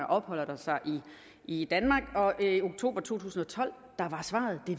opholder sig i danmark og i oktober to tusind og tolv var svaret det